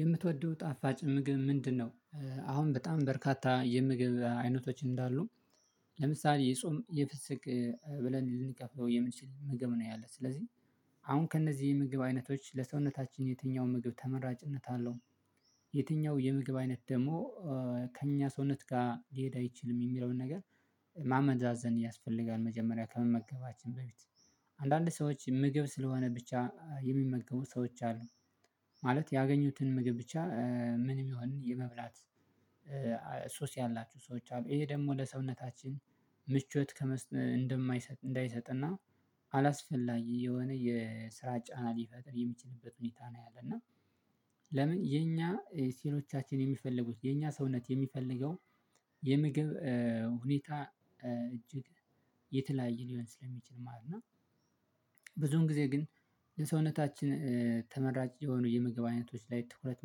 የምትወደው ጣፋጭ ምግብ ምንድነው? አሁን በጣም በርካታ የምግብ አይነቶች እንዳሉ ለምሳሌ የጾም የፍስግ ብለን ልንከፍለው የምንችል ምግብ ነው ያለው ስለዚህ አሁን ከእነዚህ የምግብ አይነቶች ለሰውነታችን የትኛው ምግብ ተመራጭነት አለው የትኛው የምግብ አይነት ደግሞ ከእኛ ሰውነት ጋር ሊሄድ አይችልም የሚለውን ነገር ማመዛዘን ያስፈልጋል። መጀመሪያ ከመመገባችን በፊት አንዳንድ ሰዎች ምግብ ስለሆነ ብቻ የሚመገቡ ሰዎች አሉ ማለት ያገኙትን ምግብ ብቻ ምንም ይሁን ምን የመብላት ሱስ ያላችሁ ሰዎች አሉ ይሄ ደግሞ ለሰውነታችን ምቾት እንዳይሰጥ እና አላስፈላጊ የሆነ የስራ ጫና ሊፈጥር የሚችልበት ሁኔታ ነው ያለና ለምን የኛ ሴሎቻችን የሚፈልጉት የኛ ሰውነት የሚፈልገው የምግብ ሁኔታ እጅግ የተለያየ ሊሆን ስለሚችል ማለት ነው። ብዙውን ጊዜ ግን ለሰውነታችን ተመራጭ የሆኑ የምግብ አይነቶች ላይ ትኩረት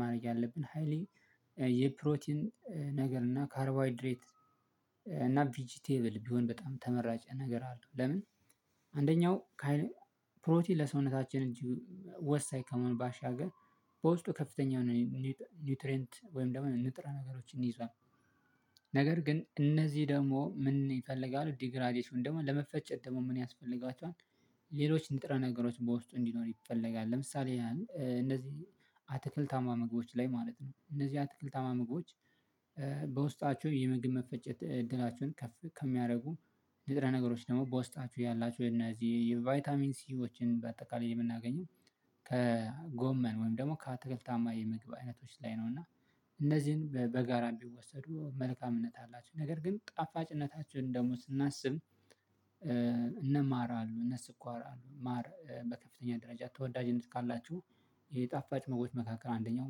ማድረግ ያለብን ሃይሊ የፕሮቲን ነገር እና ካርቦይድሬት እና ቪጂ ቴብል ቢሆን በጣም ተመራጭ ነገር አልቶ ለምን አንደኛው ፕሮቲን ለሰውነታችን ወሳኝ ከሆነ ባሻገር በውስጡ ከፍተኛ ነው ኒውትሬንት ወይም ደግሞ ንጥረ ነገሮችን ይዟል። ነገር ግን እነዚህ ደግሞ ምን ይፈልጋሉ ዲግራዴሽን ደግሞ ለመፈጨት ደግሞ ምን ያስፈልጋቸዋል ሌሎች ንጥረ ነገሮች በውስጡ እንዲኖር ይፈለጋል። ለምሳሌ እንደዚህ አትክልታማ ምግቦች ላይ ማለት ነው እነዚህ አትክልታማ ምግቦች በውስጣችሁ የምግብ መፈጨት እድላችሁን ከሚያደርጉ ልጥረ ነገሮች ደግሞ በውስጣችሁ ያላችሁን እነዚህ የቫይታሚን ሲኦችን በአጠቃላይ የምናገኘው ከጎመን ወይም ደግሞ ከአተከልታማ የምግብ አይነቶች ላይ ነው እና እነዚህን በጋራ ቢወሰዱ መልካምነት አላቸው። ነገር ግን ጣፋጭነታችን ደግሞ ስናስብ እን ማር አሉ። እነ ስኳር አሉ ማር በከፍተኛ ደረጃ ተወዳጅነት ካላችሁ የጣፋጭ መካከል አንደኛው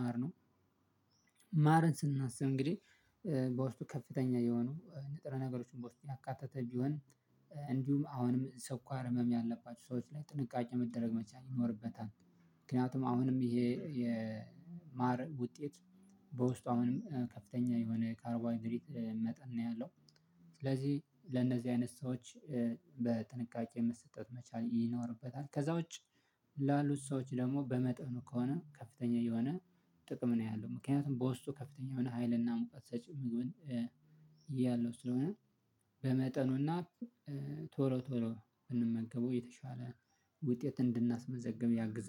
ማር ነው። ማርን ስናስብ እንግዲህ በውስጡ ከፍተኛ የሆኑ ንጥረ ነገሮችን በውስተጡ ያካተተ ቢሆን እንዲሁም አሁንም ሰኳር ህመም ያለባቸው ሰዎች ላይ ጥንቃቄ መደረግ መቻል ይኖርበታል። ምክንያቱም አሁንም ይሄ የማር ውጤት በውስጡ አሁንም ከፍተኛ የሆነ ካርቦሀይድሬት መጠን ነው ያለው። ስለዚህ ለእነዚህ አይነት ሰዎች በጥንቃቄ መሰጠት መቻል ይኖርበታል። ከዛ ውጪ ላሉት ሰዎች ደግሞ በመጠኑ ከሆነ ከፍተኛ የሆነ ጥቅም ነው ያለው። ምክንያቱም በውስጡ ከፍተኛ የሆነ ሀይልና ሙቀት ሰጭም ያለው ስለሆነ በመጠኑና ቶሎ ቶሎ ብንመገበው የተሻለ ውጤት እንድናስመዘግብ ያግዘናል።